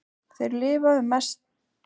Þeir lifa um mestalla Ameríku.